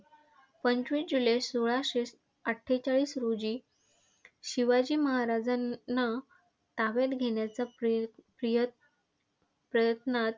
पंचवीस जुलै सोळाशे अठ्ठेचाळीस रोजी शिवाजी महाराजांना ताब्यात घेण्याच्या प्रयत प्रयत्नात.